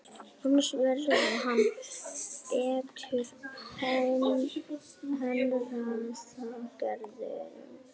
Annars verði hann beittur hernaðaraðgerðum